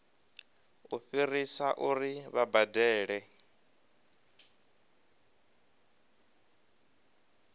u fhirisa uri vha badele